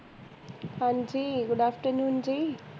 ਹਾਂਜੀ good afternoon ਜੀ